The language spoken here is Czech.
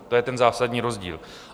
To je ten zásadní rozdíl.